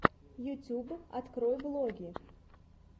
ютуб открой влоги